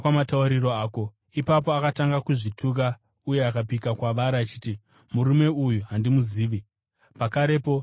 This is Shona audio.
Ipapo akatanga kuzvituka uye akapika kwavari achiti, “Murume uyu handimuzivi!” Pakarepo jongwe rakarira.